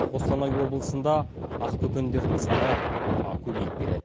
қостанай облысында ақбөкендердің саны көбейіп келеді